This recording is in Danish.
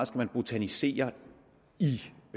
skal botanisere